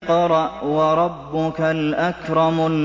اقْرَأْ وَرَبُّكَ الْأَكْرَمُ